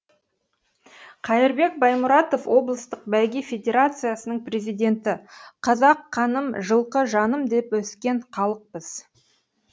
қайырбек баймұратов облыстық бәйге федерациясының президенті қазақ қаным жылқы жаным деп өскен халықпыз